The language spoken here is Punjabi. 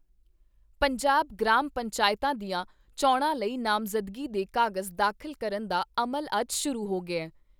ਪੰਜਾਬ ਗ੍ਰਾਮ ਪੰਚਾਇਤਾਂ ਦੀਆਂ ਚੋਣਾਂ ਲਈ ਨਾਮਜ਼ਦਗੀ ਦੇ ਕਾਗਜ਼ ਦਾਖਲ ਕਰਨ ਦਾ ਅਮਲ ਅੱਜ ਸ਼ੁਰੂ ਹੋ ਗਿਆ ।